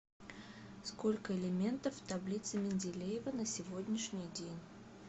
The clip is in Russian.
сколько элементов в таблице менделеева на сегодняшний день